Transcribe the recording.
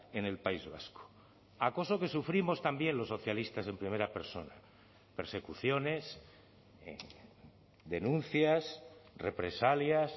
en el país vasco acoso que sufrimos también los socialistas en primera persona persecuciones denuncias represalias